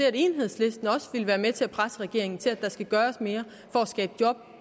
at enhedslisten også vil være med til at presse regeringen til at der skal gøres mere for at skabe job